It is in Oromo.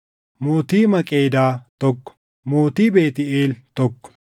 mootii Maqeedaa, tokko mootii Beetʼeel, tokko